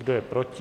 Kdo je proti?